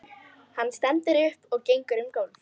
Hann stendur upp og gengur um gólf.